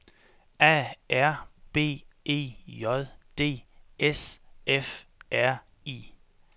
A R B E J D S F R I